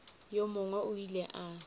yo mongwe o ile a